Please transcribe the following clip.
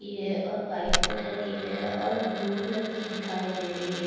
ये और white colour की है और ब्ल्यू कलर की दिखाई दे रही है।